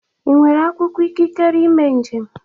Ị nwere akwụkwọ ikikere ime njem?